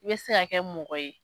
i bɛ se ka kɛ mɔgɔ ye